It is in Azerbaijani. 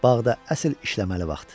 Bağda əsl işləməli vaxt.